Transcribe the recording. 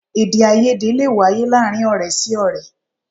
Èdèàìyedè lè wáyé láàárín ọ̀rẹ́ sí ọ̀rẹ́